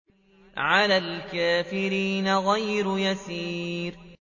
عَلَى الْكَافِرِينَ غَيْرُ يَسِيرٍ